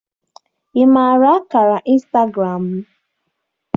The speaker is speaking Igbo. Ị maara akara instagram m?